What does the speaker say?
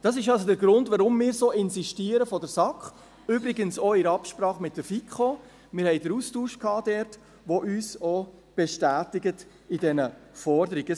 Das ist also der Grund, weshalb wir seitens der SAK so insistieren, übrigens auch in Absprache mit der FiKo – wir hatten mit dieser den Austausch –, die uns in dieser Forderung auch bestätigt.